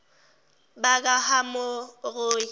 bakahamori